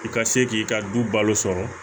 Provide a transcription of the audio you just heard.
I ka se k'i ka du balo sɔrɔ